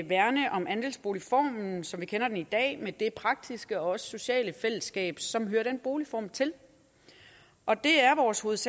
værne om andelsboligformen som vi kender den i dag med det praktiske og også sociale fællesskab som hører den boligform til og det er vores vores